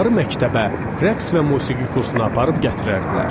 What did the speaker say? Onları məktəbə, rəqs və musiqi kursuna aparıb gətirərdilər.